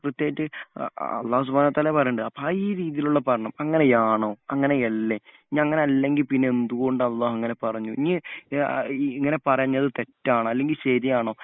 കൃത്യമായിട്ട്‌ അല്ലാഹു സുബ്ഹാനഹു വ തഹാല പറയുന്നുണ്ട് അപ്പോ ഈ രീതിയിലുള്ള പഠനം അങ്ങനെയാണോ അങ്ങനെയല്ലേ ഇനി അങ്ങനെ അല്ലെങ്കിൽ പിന്നെ എന്ത് കൊണ്ട് അള്ളാ അങ്ങനെ പറഞ്ഞു ഇനി ഇങ്ങനെ പറയാഞ്ഞത് തെറ്റാണോ അല്ലെങ്കിൽ ശരിയാണോ